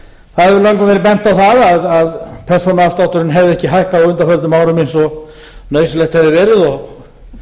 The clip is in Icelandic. í dag það hefur löngum verið bent á að persónuafslátturinn hefði ekki hækkað á undanförnum árum eins og nauðsynlegt hefði verið og